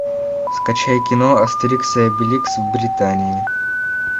скачай кино астерикс и обеликс в британии